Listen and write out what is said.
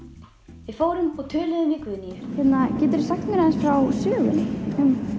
við fórum og töluðum við Guðnýju geturðu sagt okkur frá sögunni